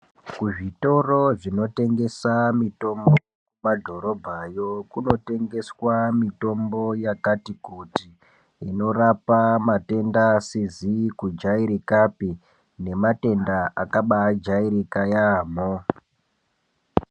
Kuzvitoro dzinotenotengesa mitombo kumadhorobhayo kunotengeswa mitombo yakati kuti inorapa matenda asizi kujairikapi nematenda akabaijairika yamho